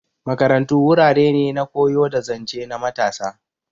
Makarantu wurare ne na koyo da zance na matasa.